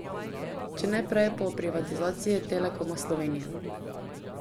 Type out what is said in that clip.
Če ne prej pa ob privatizaciji Telekoma Slovenije.